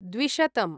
द्विशतम्